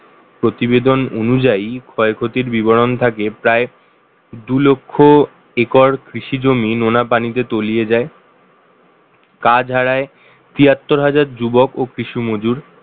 প্রতিবেদন অনুযায়ী ক্ষয়ক্ষতির বিবরণ থাকে প্রায় দুই লক্ষ acre কৃষিজমি নোনা পানিতে তলিয়ে যায় কাজ হারায় তিয়াত্তর হাজার যুবক ও কৃষি মজুর